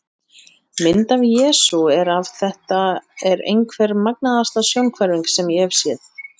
Mynd af Jesú er af Þetta er einhver magnaðasta sjónhverfing sem ég hef séð.